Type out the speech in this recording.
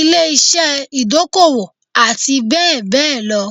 ilé-iṣẹ́ ìdókòwò àti bẹ́ẹ̀ bẹ́ẹ̀ lọ